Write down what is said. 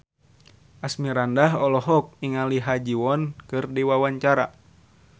Asmirandah olohok ningali Ha Ji Won keur diwawancara